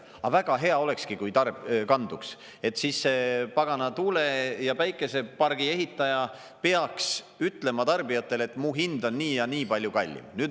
Aga väga hea olekski, kui kanduks, et siis see pagana tuule- ja päikesepargi ehitaja peaks ütlema tarbijatele, et mu hind on nii ja nii palju kallim.